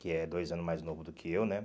Que é dois anos mais novo do que eu, né?